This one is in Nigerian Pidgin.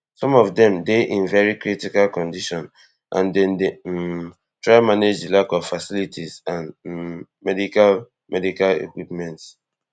some of dem dey in very critical condition and dem dey um try manage di lack of facilities and um medical medical equipment